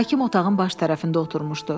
Hakim otağın baş tərəfində oturmuşdu.